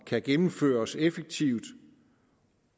kan gennemføres effektivt